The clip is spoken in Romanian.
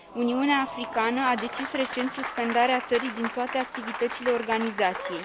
Uniunea Africană a decis recent suspendarea țării din toate activitățile organizației.